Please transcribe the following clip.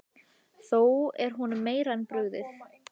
Þá er honum meira en brugðið.